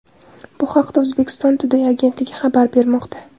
Bu haqda Uzbekistan Today agentligi xabar bermoqda .